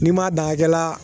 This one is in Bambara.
N'i ma dan a hakɛla.